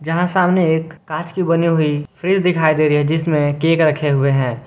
यहां सामने एक कांच की बनी हुई फ्रिज दिखाई दे रही है जिसमें केक रखे हुए हैं।